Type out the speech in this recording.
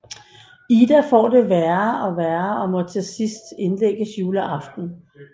Ida får det værre og være og må til sidst indlægges juleaften